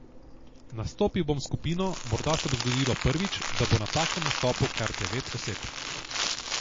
Nastopil bom s skupino, morda se bo zgodilo prvič, da bo na takem nastopu kar devet oseb.